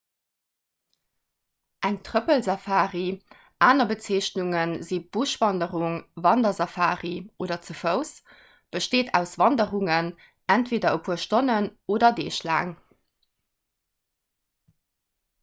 eng trëppelsafari aner bezeechnunge si buschwanderung wandersafari oder ze fouss besteet aus wanderungen entweeder e puer stonnen oder deeg laang